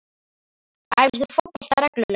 Æfir þú fótbolta reglulega?